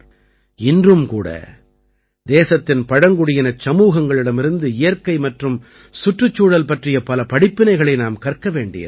இன்றும் கூட தேசத்தின் பழங்குடியினச் சமூகங்களிடமிருந்து இயற்கை மற்றும் சுற்றுச்சூழல் பற்றிய பல படிப்பினைகளை நாம் கற்க வேண்டியிருக்கிறது